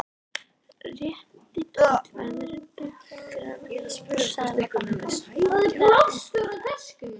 Rétti tollverðinum pappírana úr Seðlabankanum, vandlega útfyllta.